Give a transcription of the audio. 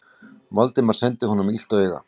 Valdimar sendi honum illt auga.